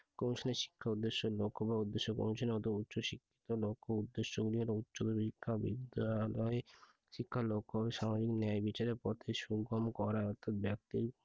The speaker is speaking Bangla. commission এর শিক্ষার উদ্দেশ্য ও লক্ষ্য বা উদ্দেশ্য commission এর অতো উচ্চশিক্ষিত লক্ষ্য উদ্দেশ্য গুলো বিদ্যালয় শিক্ষার লক্ষ্য হবে স্বাভাবিক ন্যায়বিচারের পথে করা অর্থাৎ ব্যক্তির